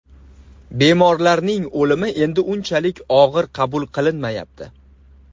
Bemorlarning o‘limi endi unchalik og‘ir qabul qilinmayapti.